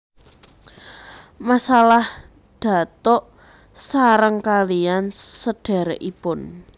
Masalah datuk sareng kaliyan sedherekipun